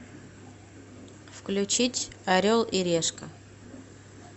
включить орел и решка